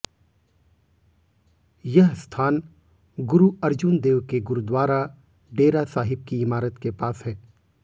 यह स्थान गुरु अर्जुन देव के गुरुद्वारा डेरा साहिब की इमारत के पास है